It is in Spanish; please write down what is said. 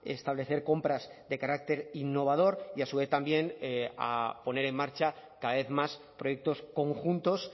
establecer compras de carácter innovador y a su vez también a poner en marcha cada vez más proyectos conjuntos